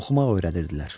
Oxumaq öyrədirdilər.